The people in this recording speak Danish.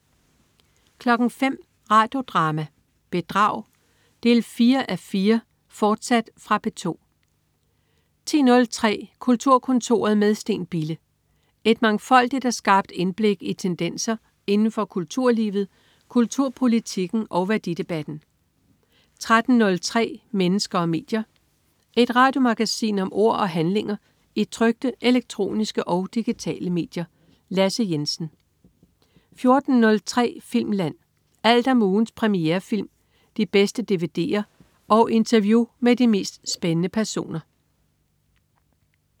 05.00 Radio Drama: Bedrag 4:4, fortsat. Fra P2 10.03 Kulturkontoret med Steen Bille. Et mangfoldigt og skarpt indblik i tendenser inden for kulturlivet, kulturpolitikken og værdidebatten 13.03 Mennesker og medier. Et radiomagasin om ord og handlinger i trykte, elektroniske og digitale medier. Lasse Jensen 14.03 Filmland. Alt om ugens premierefilm, de bedste dvd'er og interview med de mest spændende personer